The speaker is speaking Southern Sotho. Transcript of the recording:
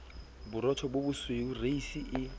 borotho bo bosweu reisi e